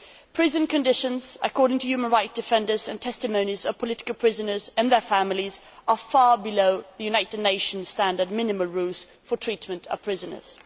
Prison conditions, according to human rights defenders and testimonies of political prisoners and their families, are far below the United Nations' standard minimum rules for treatment of prisoners.